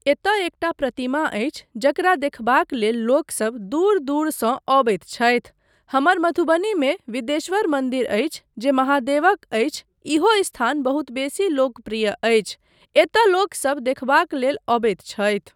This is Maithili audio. एतय एकटा प्रतिमा अछि जकरा देखबाक लेल लोकसब दूर दूरसँ अबैत छथि, हमर मधुबनीमे विदेश्वर मन्दिर अछि जे महादेवक अछि, इहो स्थान बहुत बेसी लोकप्रिय अछि, एतय लोकसब देखबाक लेल अबैत छथि।